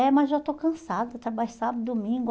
É, mas já estou cansada, trabalho sábado, domingo.